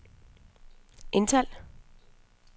indtal